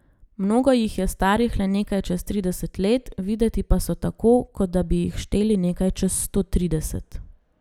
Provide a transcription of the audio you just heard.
Mnogo jih je starih le nekaj čez trideset let, videti pa so tako, kot da bi jih šteli nekaj čez sto trideset.